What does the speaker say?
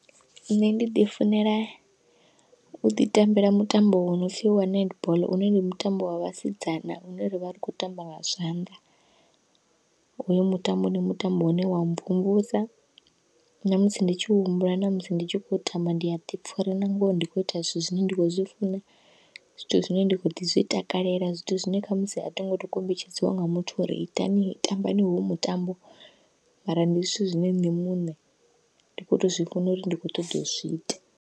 Nṋe ndi ḓi funela uḓi tambela mutambo wo nopfhi wa netball une ndi mutambo wa vhasidzana une ravha ri khou tamba nga zwanḓa, hoyu mutambo ndi mutambo une wa mvumvusa namusi ndi tshi humbula namusi ndi tshi khou tamba ndi a ḓipfha uri na ngoho ndi kho ita zwithu zwine nda kho zwi funa, zwithu zwine ndi kho ḓi zwi takalela zwithu zwine khamusi athingo tou kombetshedziwa nga muthu uri itani tambani hoyu mutambo, mara ndi zwithu zwine nṋe muṋe ndi kho to zwi funa uri ndi khou ṱoḓa uzwi ita.